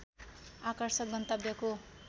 आकर्षक गन्तव्यको